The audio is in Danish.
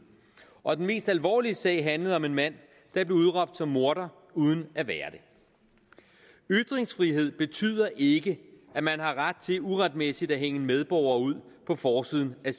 og den mest alvorlige sag handlede om en mand der blev udråbt som morder uden at være det ytringsfrihed betyder ikke at man har ret til uretmæssigt at hænge en medborger ud på forsiden af